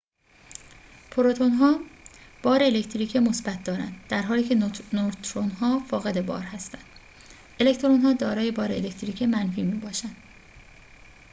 پروتون‌ها بار الکتریکی مثبت دارند درحالی که نوترون‌ها فاقد بار هستند الکترون‌ها دارای بار الکتریکی منفی می‌باشند